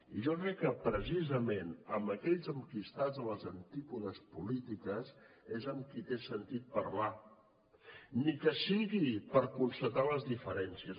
i jo crec que precisament amb aquells amb qui estàs a les antípodes polítiques és amb qui té sentit parlar ni que sigui per constatar les diferències